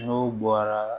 N'o bɔra